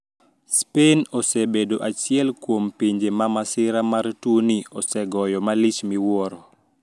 Spain osebedo achiel kuom pinje ma masira mar tuoni osegoyo malich miwuoro